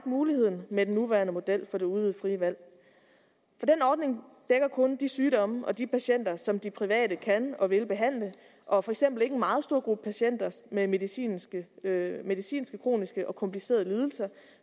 mulighed med den nuværende model for det udvidede frie valg for den ordning dækker kun de sygdomme og de patienter som de private kan og vil behandle og for eksempel ikke en meget stor gruppe patienter med medicinske med medicinske kroniske og komplicerede lidelser